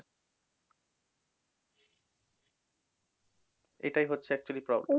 এটাই হচ্ছে actually problem